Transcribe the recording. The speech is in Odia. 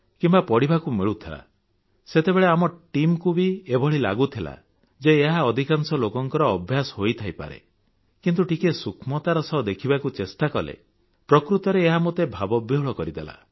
କିମ୍ବା ପଢ଼ିବାକୁ ମିଳୁଥିଲା ସେତେବେଳେ ଆମ Teamକୁ ବି ଏଭଳି ଲାଗୁଥିଲା ଯେ ଏହା ଅଧିକାଂଶ ଲୋକଙ୍କ ଅଭ୍ୟାସ ହୋଇଥାଇପାରେ କିନ୍ତୁ ଟିକିଏ ସୂକ୍ଷ୍ମତାର ସହ ଦେଖିବାକୁ ଚେଷ୍ଟା କଲେ ପ୍ରକୃତରେ ଏହା ମୋତେ ଭାବବିହ୍ୱଳ କରିଦେଲା